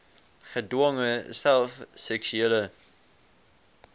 gedwonge self seksuele